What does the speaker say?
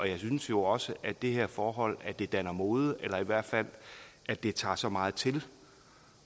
jeg synes jo også at det her forhold at det danner mode eller i hvert fald at det tager så meget til